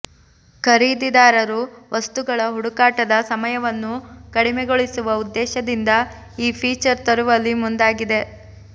ಖರೀದಿದಾರರು ವಸ್ತುಗಳ ಹುಡುಕಾಟದ ಸಮಯವನ್ನು ಕಡಿಮೆಗೊಳಿಸುವ ಉದ್ದೇಶದಿಂದ ಈ ಫೀಚರ್ ತರುವಲ್ಲಿ ಮುಂದಾಗಿದೆ